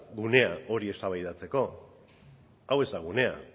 gunea hori eztabaidatzeko hau ez da gunea